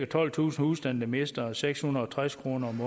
tolvtusind husstande der mister seks hundrede og tres kroner om